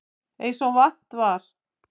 Eins og vant er.